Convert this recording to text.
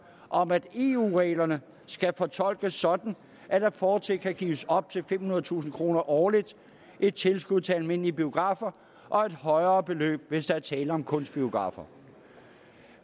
om at eu reglerne skal fortolkes sådan at der fortsat kan gives op til femhundredetusind kroner årligt i tilskud til almindelige biografer og et højere beløb hvis der er tale om kunstbiografer